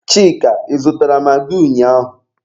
Chika, Ị zụtara magị ụnyaahụ?